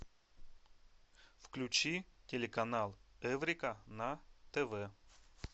включи телеканал эврика на тв